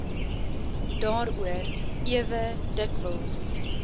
daaroor ewe dikwels